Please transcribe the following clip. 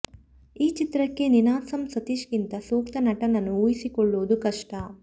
ಈ ಚಿತ್ರಕ್ಕೆ ನೀನಾಸಂ ಸತೀಶ್ ಗಿಂತ ಸೂಕ್ತ ನಟನನ್ನು ಊಹಿಸಿಕೊಳ್ಳುವುದು ಕಷ್ಟ